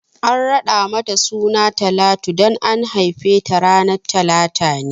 An raɗa mata suna Talatu dan an haife ta ranar talata ne